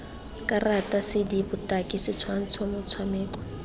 karata cd botaki setshwantsho motshameko